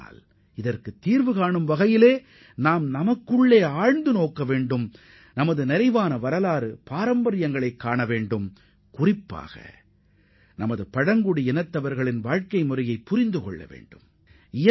ஆனால் அதற்கு தீர்வுகாண வேண்டுமெனில் நாம் நமது கடந்த கால பொற்காலத்தை நினைவுகூறுவதுடன் நமது பாரம்பரிய செழுமைகளை குறிப்பாக நமது பழங்குடியின மக்களின் வாழ்க்கை முறைகளை அறிந்து கொள்வது அவசியம்